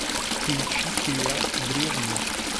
включи сериал древние